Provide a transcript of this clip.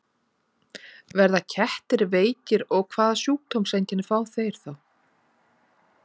Verða kettir veikir og hvaða sjúkdómseinkenni fá þeir þá?